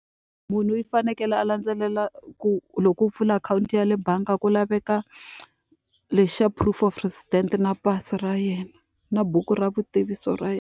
Munhu i fanekele a landzelela ku loko u pfula akhawunti ya le bangi ku laveka lexi xa proof of residence, na pasi ra yena, na buku ra vutitivisi ra yena.